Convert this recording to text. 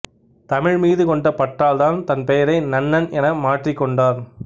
தமிழ் மீது கொண்ட பற்றால் தன் பெயரை நன்னன் என மாற்றிக் கொண்டார்